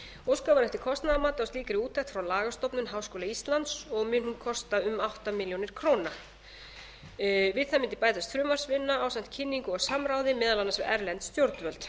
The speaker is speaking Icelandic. óskað var eftir kostnaðarmati á slíkri úttekt frá lagastofnun háskóla íslands og mun hún kosta um átta milljónir króna við samninginn bætast frumvarpsvinna ásamt kynningu og samráði meðal annars við erlend stjórnvöld